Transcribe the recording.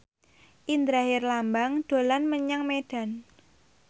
Indra Herlambang dolan menyang Medan